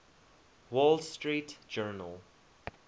wall street journal